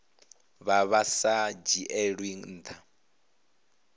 vha vha sa dzhielwi ntha